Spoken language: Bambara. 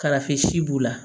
Kalafi si b'u la